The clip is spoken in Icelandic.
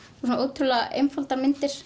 og ótrúlega einfaldar myndir